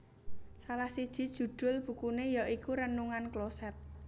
Salah siji judhul bukune ya iku Renungan Kloset